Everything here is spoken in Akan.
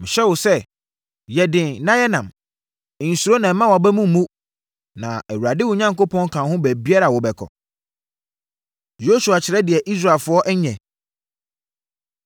Mehyɛ wo sɛ, yɛ den na yɛ nnam! Nsuro na mma wʼaba mu mmu, na Awurade wo Onyankopɔn ka wo ho baabiara a wobɛkɔ.” Yosua Kyerɛ Deɛ Israelfoɔ Nyɛ